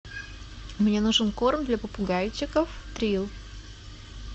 мне нужен корм для попугайчиков трилл